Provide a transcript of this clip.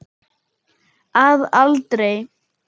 Að aldrei.